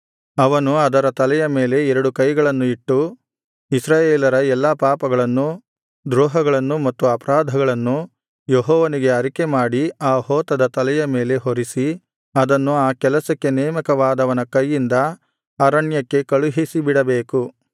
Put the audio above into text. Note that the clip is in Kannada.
ಅವನು ಅದರ ತಲೆಯ ಮೇಲೆ ಎರಡು ಕೈಗಳನ್ನು ಇಟ್ಟು ಇಸ್ರಾಯೇಲರ ಎಲ್ಲಾ ಪಾಪಗಳನ್ನು ದ್ರೋಹಗಳನ್ನು ಮತ್ತು ಅಪರಾಧಗಳನ್ನು ಯೆಹೋವನಿಗೆ ಅರಿಕೆಮಾಡಿ ಆ ಹೋತದ ತಲೆಯ ಮೇಲೆ ಹೊರಿಸಿ ಅದನ್ನು ಆ ಕೆಲಸಕ್ಕೆ ನೇಮಕವಾದವನ ಕೈಯಿಂದ ಅರಣ್ಯಕ್ಕೆ ಕಳುಹಿಸಿಬಿಡಬೇಕು